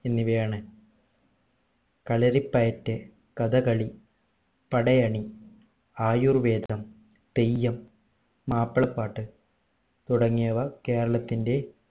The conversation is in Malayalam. എന്നിവയാണ് കളരിപ്പയറ്റ് കഥകളി പടയണി ആയുർവേദം തെയ്യം മാപ്പിളപ്പാട്ട് തുടങ്ങിയവ കേരളത്തിന്റെ